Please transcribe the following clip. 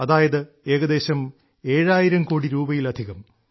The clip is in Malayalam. അതായത് ഏകദേശം ഏഴായിരം കോടി രൂപയിലധികം